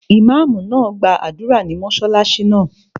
Ìmáàmù náà gbàdúrà ní mọ́sálásí náà